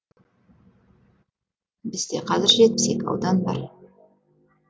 бізде қазір жетпіс екі аудан бар